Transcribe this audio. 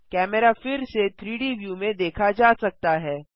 camera फिर से 3डी व्यू में देखा जा सकता है